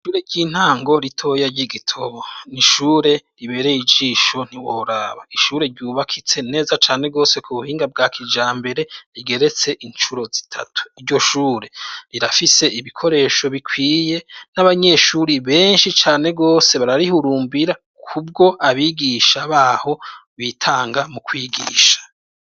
Ishure ry'intango ritoya ry'i Gitobo, n'ishure ribereye ijisho ntiworaba, ishure ryubakitse neza cane gose ku buhinga bwa kijambere rigeretse incuro zitatu, iryo shure rirafise ibikoresho bikwiye n'abanyeshure benshi cane gose bararihurumbira kubwo abigisha baho bitanga mu kwigisha.